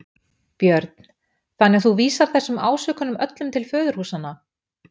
Björn: Þannig að þú vísar þessum ásökunum öllum til föðurhúsanna?